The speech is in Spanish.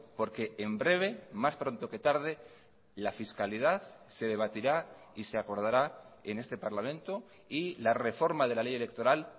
porque en breve más pronto que tarde la fiscalidad se debatirá y se acordará en este parlamento y la reforma de la ley electoral